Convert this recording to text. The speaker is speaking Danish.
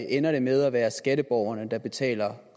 ender det med at være skatteborgerne der betaler